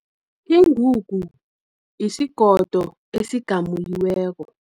Ingungu, yisigodo esigamululweko.